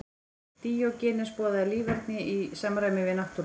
Díógenes boðaði líferni í samræmi við náttúruna.